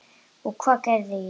Og hvað gerði ég?